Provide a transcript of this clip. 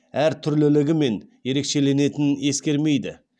әртүрлілігімен ерекшеленетінін ескермейді